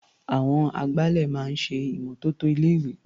Àwọn agbálẹ̀ máa ń ṣe ìmọ́tótó ilé-ìwé.